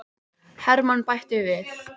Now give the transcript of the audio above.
Hermann bætti við.